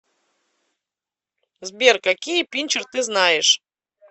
сбер какие пинчер ты знаешь